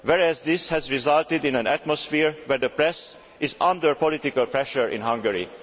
whereas this has resulted in an atmosphere where the press is under political pressure in Hungary'.